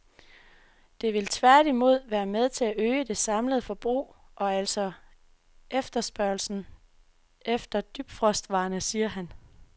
Det vil tværtimod være med til at øge det samlede forbrug og altså også efterspørgslen efter dybfrostvarerne, siger han.